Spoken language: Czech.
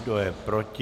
Kdo je proti?